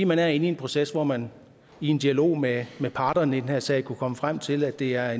man er inde i en proces hvor man i en dialog med parterne i den her sag kunne komme frem til at det er